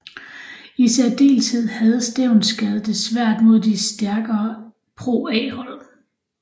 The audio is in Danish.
I særdeleshed havde Stevnsgade det svært mod de stærkere ProA hold